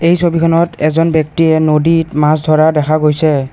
এই ছবিখনত এজন ব্যক্তিয়ে নদীত মাছ ধৰা দেখা গৈছে।